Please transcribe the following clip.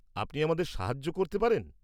আপনি আমাদের সাহায্য করতে পারেন?